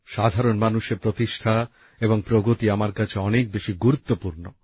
সাধারণ মানুষের প্রতিষ্ঠা এবং প্রগতি আমার কাছে অনেক বেশি গুরুত্বপূর্ণ